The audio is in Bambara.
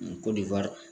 Ko